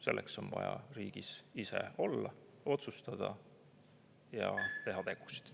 Selleks on vaja riigis ise olla, otsustada ja teha tegusid.